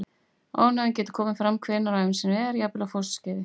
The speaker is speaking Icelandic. Ofnæmi getur komið fram hvenær sem er á ævinni, jafnvel á fósturskeiði.